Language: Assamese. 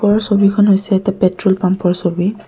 ওপৰৰ ছবিখন হৈছে এটা পেট্ৰল পাম্পৰ ছবি।